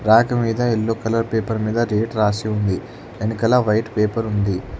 Rack మీద yellow colour paper మీద rate రాసి ఉంది వెనకాల వైట్ పేపర్ ఉంది.